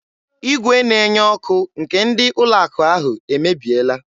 Igwe na-enye ọkụ nke ndị ụlọ akụ ahụ emebiela.